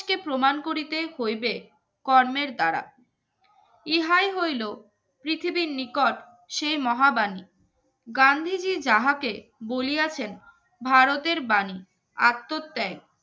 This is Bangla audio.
কে প্রমাণ করিতে হইবে কর্মের দ্বারা এ হাই হইল পৃথিবীর নিকট সেই মহা বাণী গান্ধীজীর যাহাকে বলিয়াছেন ভারতের বাণী আত্মত্বাই